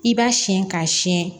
I b'a siyɛn k'a siyɛn